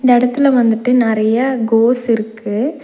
படத்துல வந்துட்டு நெறைய கோஸ் இருக்கு.